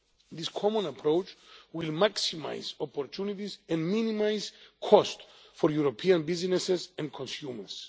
This common approach will maximise opportunities and minimise costs for European businesses and consumers.